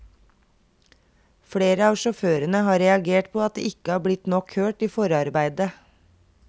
Flere av sjåførene har reagert på at de ikke har blitt nok hørt i forarbeidet.